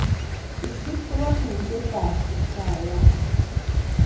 isuub ngatutietab kiptaiyat